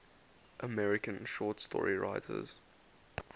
american short story writers